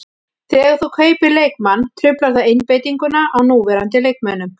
Þegar þú kaupir leikmann truflar það einbeitinguna á núverandi leikmönnum.